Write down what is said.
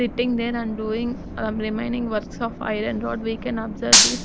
Sitting there and doing remaining works of iron rod we can observe this.